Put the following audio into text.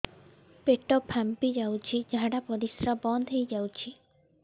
ପେଟ ଫାମ୍ପି ଯାଉଛି ଝାଡା ପରିଶ୍ରା ବନ୍ଦ ହେଇ ଯାଉଛି